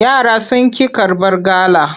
Yara sun ƙi karbar gala.